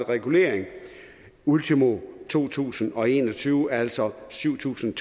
regulering ultimo to tusind og en og tyve altså syv tusind